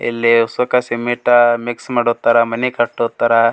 ಇಲ್ಲಿ ಉಸುಕ್ಕ cement mix ಮಾಡೋತ್ತರ್ ಮನಿ ಕಟ್ಟುತರ್.